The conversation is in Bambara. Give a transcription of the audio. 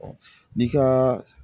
n'i ka